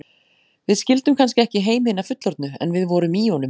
Við skildum kannski ekki heim hinna fullorðnu, en við vorum í honum.